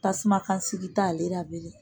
Tasuma kasigi t' ale la bilen